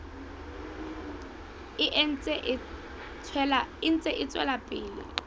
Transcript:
e ntse e tswela pele